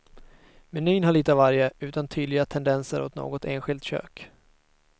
Menyn har lite av varje, utan tydliga tendenser åt något enskilt kök.